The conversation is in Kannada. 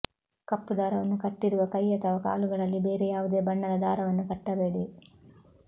ಕಪ್ಪು ದಾರವನ್ನು ಕಟ್ಟಿರುವ ಕೈ ಅಥವಾ ಕಾಲುಗಳಲ್ಲಿ ಬೇರೆ ಯಾವುದೇ ಬಣ್ಣದ ದಾರವನ್ನು ಕಟ್ಟಬೇಡಿ